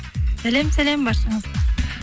сәлем сәлем баршаңызға